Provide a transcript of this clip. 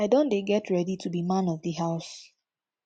i don dey get ready to be man of di house